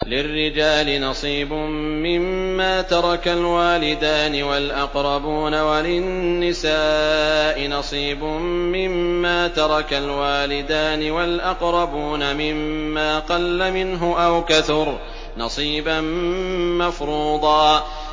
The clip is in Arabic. لِّلرِّجَالِ نَصِيبٌ مِّمَّا تَرَكَ الْوَالِدَانِ وَالْأَقْرَبُونَ وَلِلنِّسَاءِ نَصِيبٌ مِّمَّا تَرَكَ الْوَالِدَانِ وَالْأَقْرَبُونَ مِمَّا قَلَّ مِنْهُ أَوْ كَثُرَ ۚ نَصِيبًا مَّفْرُوضًا